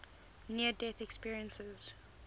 near death experiences